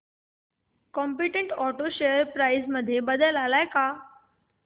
competent auto share price मध्ये बदल आलाय का